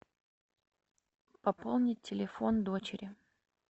пополнить телефон дочери